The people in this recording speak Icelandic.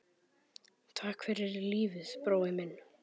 Takk fyrir lífið, brói minn.